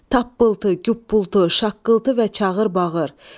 Tappıltı, güppültü, şaqqıltı və çağır-bağır.